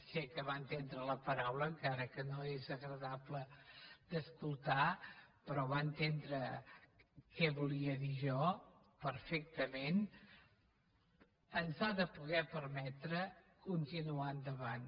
sé que va entendre la paraula encara que no és agradable d’escoltar però va entendre què volia dir jo perfectament ens ha de permetre continuar endavant